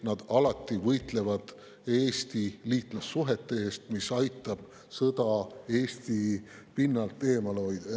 Nad võitlevad alati Eesti liitlassuhete eest, mis aitab sõda Eesti pinnalt eemale hoida.